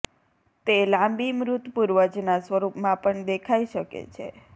તે લાંબી મૃત પૂર્વજના સ્વરૂપમાં પણ દેખાઈ શકે છે